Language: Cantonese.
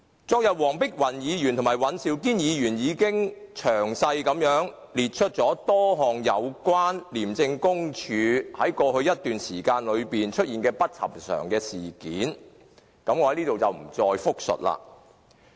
昨天，黃碧雲議員和尹兆堅議員已經詳細列出多項有關廉政公署在過去一段時間內出現的不尋常事件，我在此不再複述。